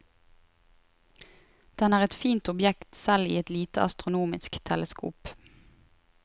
Den er et fint objekt selv i et lite astronomisk teleskop.